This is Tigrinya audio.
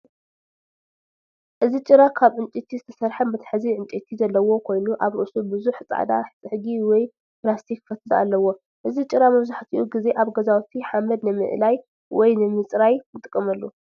እዚ ጭራ ካብ ዕንጨይቲ ዝተሰርሐ መትሓዚ ዕንጨይቲ ዘለዎ ኮይኑ ኣብ ርእሱ ብዙሕ ጻዕዳ ጽሕጊ ወይ ፕላስቲክ ፈትሊ ኣለዎ። እዚ ጭራ መብዛሕትኡ ግዜ ኣብ ገዛውቲ ሓመድ ንምእላይ ወይ ንምጽራይ ንጥቀመሉ።